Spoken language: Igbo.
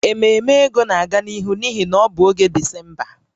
Ememe ego na-aga n'ihu n'ihi na ọ bụ oge Disemba